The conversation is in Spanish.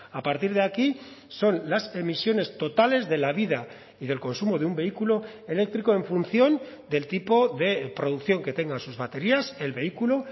a partir de aquí son las emisiones totales de la vida y del consumo de un vehículo eléctrico en función del tipo de producción que tengan sus baterías el vehículo